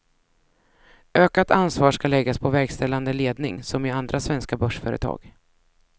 Ökat ansvar ska läggas på verkställande ledning, som i andra svenska börsföretag.